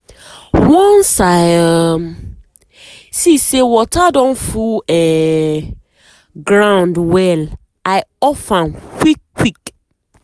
once i um see say water don full um ground well i off am quick quick.